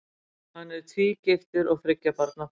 Hann er tvígiftur og þriggja barna faðir.